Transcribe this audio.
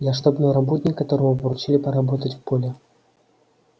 я штабной работник которому поручили поработать в поле